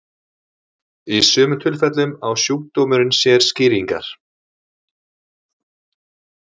Í sumum tilfellum á sjúkdómurinn sér skýringar.